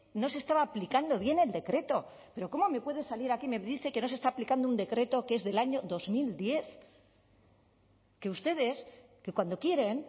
no se estaba aplicando bien el decreto pero cómo me puede salir aquí y me dice que no se está aplicando un decreto que es el del año dos mil diez que ustedes que cuando quieren